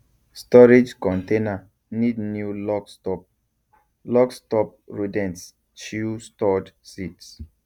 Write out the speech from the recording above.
storage container need new lock stop lock stop rodents chew stored seeds